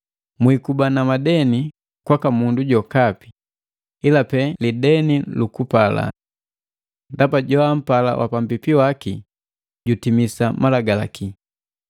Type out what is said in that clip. Mwiikuba na madeni kwaka mundu jokapi, ila pe lideni lukupalana. Ndaba joampala wapambipi waki jutimisi Malagalaki.